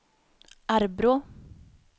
Arbrå